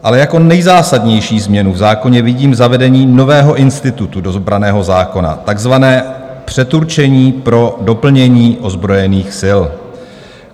Ale jako nejzásadnější změnu v zákoně vidím zavedení nového institutu do branného zákona, takzvané předurčení pro doplnění ozbrojených sil.